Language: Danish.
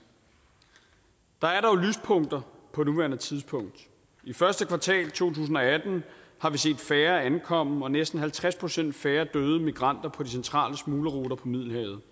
der er dog lyspunkter på nuværende tidspunkt i første kvartal to tusind og atten har vi set færre ankomme og næsten halvtreds procent færre døde migranter på de centrale smuglerruter på middelhavet